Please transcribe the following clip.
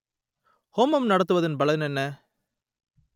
ஹோமம் நடத்துவதன் பலன் என்ன